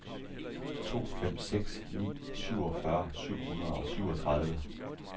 to fem seks ni syvogfyrre syv hundrede og syvogtredive